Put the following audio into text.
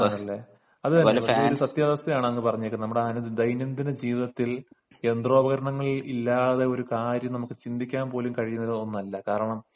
ഓ അതാണല്ലേ ഒരു സത്യാവസ്ഥയാണ് അങ്ങ് പറഞ്ഞത് നമ്മുടെ ദൈനം ദിന ജീവിതത്തിൽ യന്ത്രോപകരണങ്ങൾ ഇല്ലാതെ ജീവിക്കുന്നത് നമുക്ക് ചിന്തിക്കാൻ പോലും കഴിയുന്ന ഒന്നല്ല കാരണം